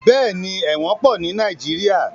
Bẹ́ẹ̀ni, ẹ̀wọ̀n pọ̀ ní Nàìjíríà.